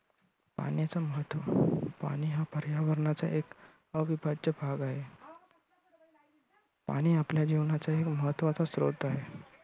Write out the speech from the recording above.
पाण्याचं महत्त्व- पाणी हा पर्यावरणाचा एक अविभाज्य भाग आहे. पाणी आपल्या जीवनाचा एक महत्त्वाचा स्रोत आहे.